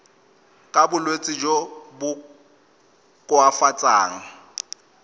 ka bolwetsi jo bo koafatsang